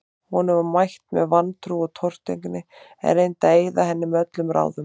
Honum var mætt með vantrú og tortryggni, en reyndi að eyða henni með öllum ráðum.